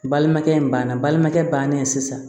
Balimakɛ in banna balimakɛ bannen sisan